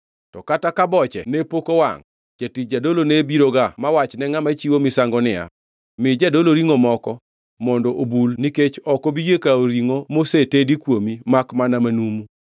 To kata ka boche ne pok owangʼ, jatich jadolo ne biroga ma wach ne ngʼama chiwo misango niya, “Mi jadolo ringʼo moko mondo obul nikech ok obi yie kawo ringʼo mosetedi kuomi makmana manumu.”